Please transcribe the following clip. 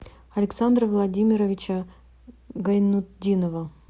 александра владимировича гайнутдинова